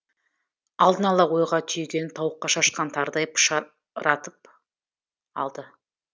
алдын ала ойға түйгенін тауыққа шашқан тарыдай пышыратып алды